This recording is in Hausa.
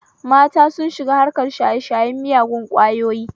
Mata sun shiga harkar shaye shayen miyagun ƙwayoyi